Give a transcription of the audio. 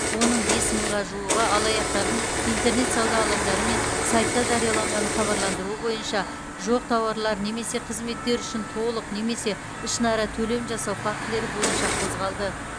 оның бес мыңға жуығы алаяқтардың интернет сауда алаңдары мен сайтта жарияланған хабарландыруы бойынша жоқ тауарлар немесе қызметтер үшін толық немесе ішінара төлем жасау фактілері бойынша қозғалды